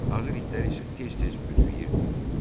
Ağır itlər isə tez-tez büdrəyirdilər.